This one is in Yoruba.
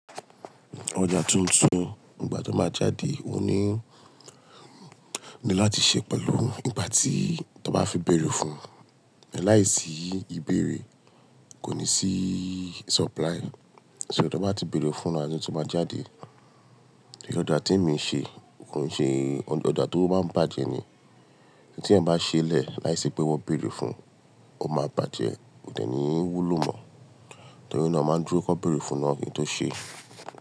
Ọjà tuntun nígbà tí wọ́n bá jáde, ó ní ní láti ṣe pẹ̀lú ìgbà tí tọ bá fi bèrè fún. Láiṣí ìbéèrè kò ní sí supply. So tí wọ́n bá ti bèrè fún a tí wọ́n bá jáde. Ẹ̀ṣọ́ ọjà tí èmi ń ṣe, n kò ń ṣe ọjà tó bá ń bàjẹ́ ni. Ẹni tí ẹ̀ ń bá ṣẹlẹ̀ láìsí pé wọ́n bèrè fún, ó máa bàjẹ́, òdẹ̀ ní wúlò mọ̀. Torí náà, máa dúró kí wọ́n bèrè fún náà kí n tó ṣe.